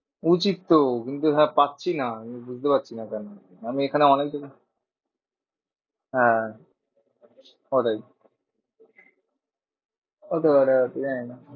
উচিত তো, কিন্তু হ্যাঁ পাচ্ছি না বুঝতে পারছি না কেন? আমি এখানে অনেক দিন হ্যাঁ ওটাই হতে পারে হয়তো জানিনা।